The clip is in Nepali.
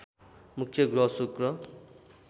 मुख्य ग्रह शुक्र